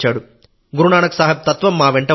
గురునానక్ సాహెబ్ తత్వం మా వెంట ఉంది